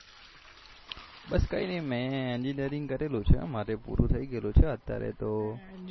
બસ કઈનઈ મેં engeenering કરેલું છે મારે પૂરું થઇ ગયેલું છે અત્યારે તો